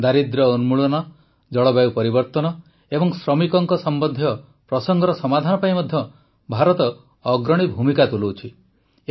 ଦାରିଦ୍ର୍ୟ ଉନ୍ମୁଳନ ଜଳବାୟୁ ପରିବର୍ତ୍ତନ ଏବଂ ଶ୍ରମିକଙ୍କ ସମ୍ବନ୍ଧୀୟ ପ୍ରସଙ୍ଗର ସମାଧାନ ପାଇଁ ମଧ୍ୟ ଭାରତ ଅଗ୍ରଣୀ ଭୂମିକା ତୁଲାଉଛି